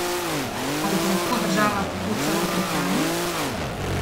Ali pa lahko država tako celo prihrani?